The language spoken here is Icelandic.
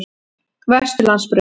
Vesturlandsbraut